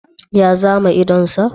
Ya zame idon sa?